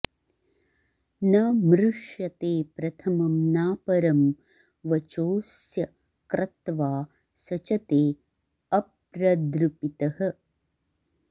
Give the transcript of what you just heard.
न मृ॑ष्यते प्रथ॒मं नाप॑रं॒ वचो॒ऽस्य क्रत्वा॑ सचते॒ अप्र॑दृपितः